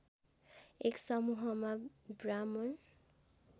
एक समूहमा ब्राह्मण